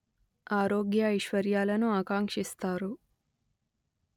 ఆరోగ్య ఐశ్వర్యాలను ఆకాంక్షిస్తారు